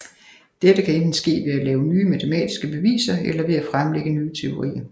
Dette kan enten ske ved at lave nye matematiske beviser eller ved at fremlægge nye teorier